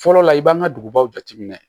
Fɔlɔ la i b'an ka dugubaw jateminɛ